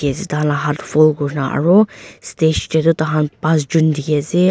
la hat fold kurna aro stage deh du tahan pas jun dikhi asey.